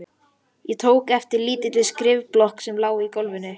Ég tók eftir lítilli skrifblokk sem lá í gólfinu.